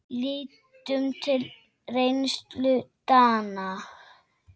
Lítum til reynslu Dana.